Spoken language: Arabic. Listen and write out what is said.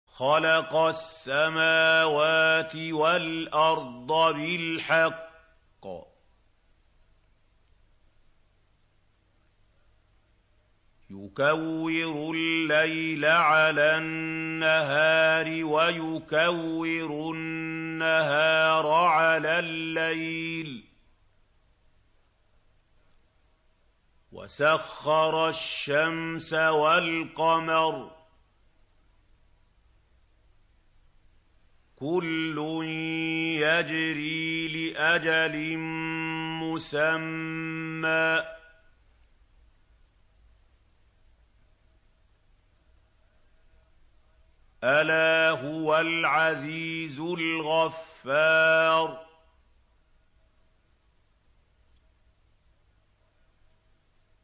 خَلَقَ السَّمَاوَاتِ وَالْأَرْضَ بِالْحَقِّ ۖ يُكَوِّرُ اللَّيْلَ عَلَى النَّهَارِ وَيُكَوِّرُ النَّهَارَ عَلَى اللَّيْلِ ۖ وَسَخَّرَ الشَّمْسَ وَالْقَمَرَ ۖ كُلٌّ يَجْرِي لِأَجَلٍ مُّسَمًّى ۗ أَلَا هُوَ الْعَزِيزُ الْغَفَّارُ